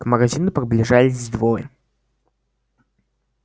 к магазину приближались двое